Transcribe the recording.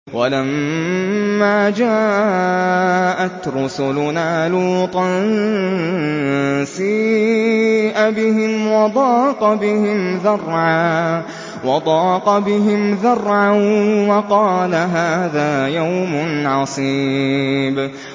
وَلَمَّا جَاءَتْ رُسُلُنَا لُوطًا سِيءَ بِهِمْ وَضَاقَ بِهِمْ ذَرْعًا وَقَالَ هَٰذَا يَوْمٌ عَصِيبٌ